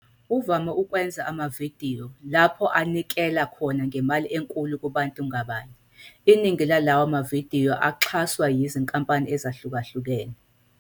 Uvame ukwenza amavidiyo lapho anikela khona ngemali enkulu kubantu ngabanye, iningi lalawa mavidiyo axhaswa yizinkampani ezahlukahlukene.